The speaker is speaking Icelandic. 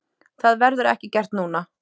Það verður ekki gert núna.